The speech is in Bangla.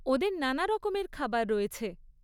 ওদের নানারকমের খাবার রয়েছে।